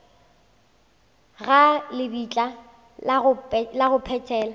ga lebitla la go phethela